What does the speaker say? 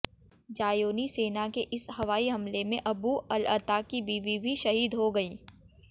ज़ायोनी सेना के इस हवाई हमले में अबू अलअता की बीवी भी शहीद हो गयीं